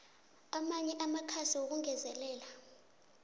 amanye amakhasi wokungezelela